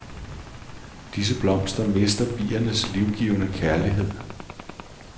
Disse blomster mister biernes livgivende kærlighed.